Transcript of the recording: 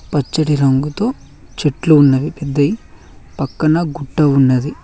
పచ్చటి రంగుతో చెట్లు ఉన్నవి పెద్దయి పక్కన గుట్ట ఉన్నది.